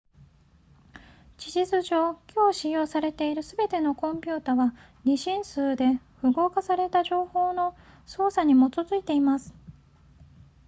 事実上今日使用されているすべてのコンピュータは2進数で符号化された情報の操作に基づいています